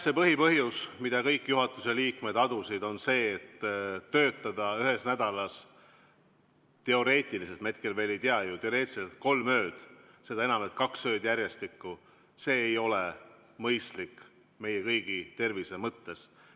See põhipõhjus, mida kõik juhatuse liikmed adusid, on see, et töötada ühes nädalas teoreetiliselt – me hetkel veel ei tea ju – kolm ööd, seda enam, et kaks ööd järjestikku, see ei ole mõistlik meie kõigi tervise mõttes.